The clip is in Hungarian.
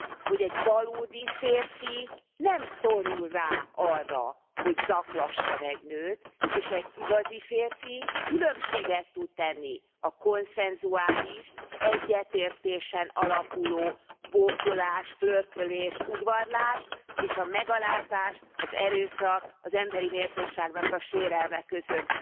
Hogy egy valódi férfi nem szorul rá arra, hogy zaklasson egy nőt, és egy igazi férfi különbséget tud tenni a konszenzuális, egyetértésen alapuló bókolás, flörtölés, udvarlás, és a megalázás, az erőszak, az emberi méltóságnak a sérelme között.